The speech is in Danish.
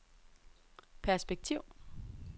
perspektiv